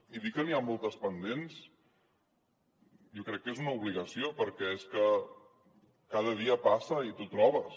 i dir que n’hi ha moltes pendents jo crec que és una obligació perquè és que cada dia passa i t’ho trobes